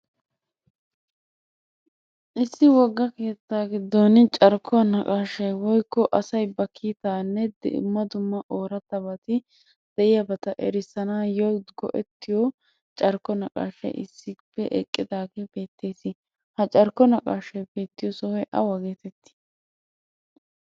Issi wogga keettaa giddon carkkuwa naqaashay woyikko asay ba kitaanne dumma dumma oorattabati de'iyabata erissanaayyo go'ettiyo carkko naqaashay issippe eqqidaagee beettees. Ha carkko maqaashay beettiyo sohoy awa geetettii?